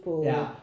Ja